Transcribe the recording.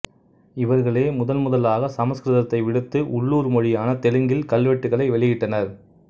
இவர்களே முதன் முதலாக சமஸ்கிருதத்தை விடுத்து உள்ளூர் மொழியான தெலுங்கில் கல்வெட்டுக்களை வெளியிட்டனர்